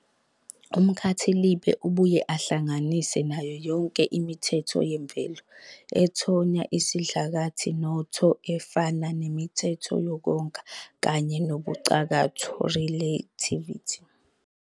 Lomkhankaso obuye uvumele abafundi abadala ukufunda, ukubhala nokubala ngolimi lwabo lwasekhaya uphethwe umnyango wezemfundo eyisisekelo futhi usebenza kuzo zonke izifundazwe.